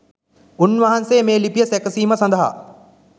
උන් වහන්සේ මේ ලිපිය සැකසීම සඳහා